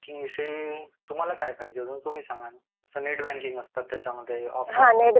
Banking विषयी तुम्हाला काय पाहिजेत तुम्ही सांगा ना जसा नेट बँकिंग असतं त्याच्यामध्ये.